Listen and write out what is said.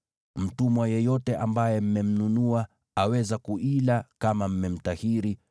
Mtumwa yeyote ambaye mmemnunua aweza kuila kama mmemtahiri,